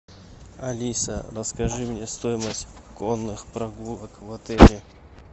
алиса расскажи мне стоимость конных прогулок в отеле